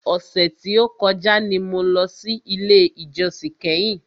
Ọ̀sẹ̀ tí o kọjá ni mo lọ sí ilé ìjósìn kẹ́hìn.